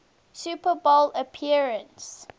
super bowl appearance